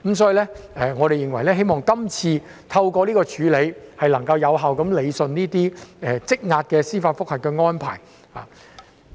所以，我們認為透過今次的安排，能夠有效處理這些積壓的司法覆核個案。